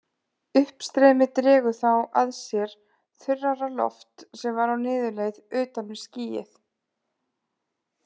Uppstreymið dregur þá að sér þurrara loft sem var á niðurleið utan við skýið.